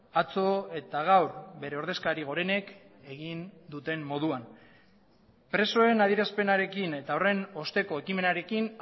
atzo eta gaur bere ordezkari gorenek egin duten moduan presoen adierazpenarekin eta horren osteko ekimenarekin